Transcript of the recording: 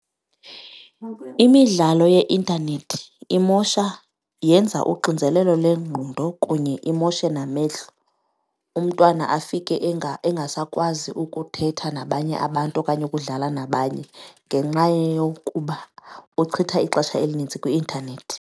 Imidlalo yeintanethi imosha yenza uxinzelelo lengqondo kunye imoshe namehlo, umntwana afike engasakwazi ukuthetha nabanye abantu okanye ukudlala nabanye ngenxa yokuba uchitha ixesha elinintsi kwi-intanethi.